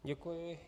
Děkuji.